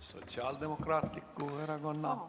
Sotsiaaldemokraatliku Erakonna nimel!